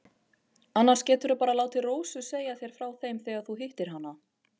Annars geturðu bara látið Rósu segja þér frá þeim þegar þú hittir hana.